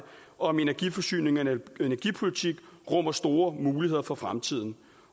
om energiforsyning og energipolitik rummer store muligheder for fremtiden